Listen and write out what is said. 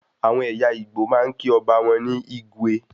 Àwọn ẹyà Igbo máa ń kí ọba ní "igwe"